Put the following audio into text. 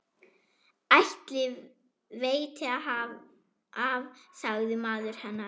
Ætli veiti af, sagði maður hennar.